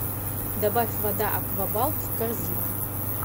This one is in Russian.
добавь вода аквабалт в корзину